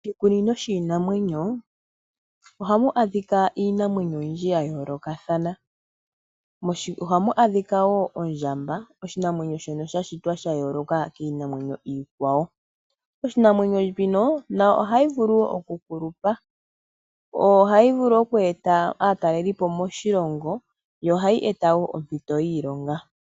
Oshikunino shiinamwenyo ohamu adhika iinamwenyo oyindji ya yoolokathana . Ohamu adhika wo ondjamba oshinamwenyo shoka sha shitwa sha yooloka kiinamwenyo iikwawo. Iinamwenyo mbino nayo ohayi vulu oku kulupa . Ohayi vulu okweeta aatalelipo moshilongo yo ohayi eta wo ompito yiilonga.